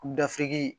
Gafe